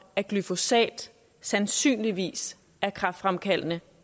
at glyfosat sandsynligvis er kræftfremkaldende